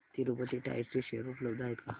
Tirupati tyres चे share उपलब्ध आहेत का